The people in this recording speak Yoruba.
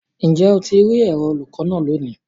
Njẹ o ti ri ẹrọ olukọ naa loni?